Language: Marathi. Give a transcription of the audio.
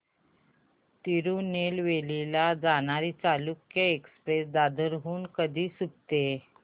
तिरूनेलवेली ला जाणारी चालुक्य एक्सप्रेस दादर हून कधी सुटते